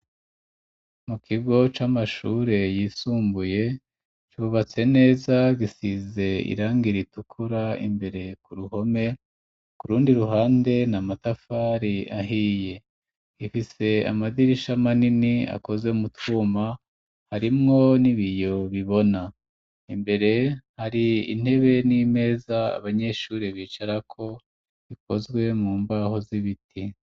Mu kigo c'amashure yisumbuye cubatse neza, gisiz' irangi ritukura ,Imbere ku ruhome kurundi ruhande na matafari ahiye ,rifise amadirisha manini akoze mu twuma ,harimwo n'ibiyo bibona, imbere hari intebe n'imeza, abanyeshuri bicara ko bikozwe mu mbaho z'ibiti.